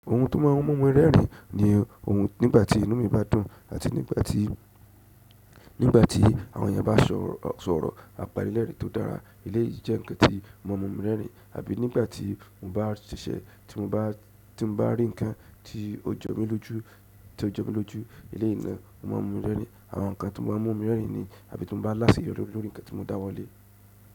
Ohun tó máà ń mú mi rẹ́rìn ni ohun nígbà tí inú mi bá dùn àti nígbà tí, nígbà tí àwọn èèyàn bá sọ̀rọ̀, sọ̀rọ̀ àpanilẹ́rìn tó dára. Eleyìí jẹ́ ǹkan tí o maa n mu mi rẹ́rìn àbí nígbà tí mo bá ṣiṣẹ̀ tí mo bá ti mo ba rí ǹkan tí ó jo mi lójú, tí ó jo mi lójú. Eleyii náà o maa n mu mi rẹ́rìn. Àwọn ǹkan tó máa ń mú mi rẹ́rìn ni àbí tí mo bá láṣẹyórí lórí ǹkan tí mo dáwọ́ lé.